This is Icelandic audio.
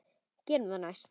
Gerum það næst.